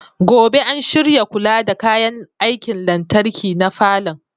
Gobe ​​an shirya kula da kayan aikin lantarki na falon.